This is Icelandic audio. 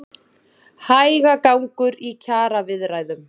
Hægagangur í kjaraviðræðum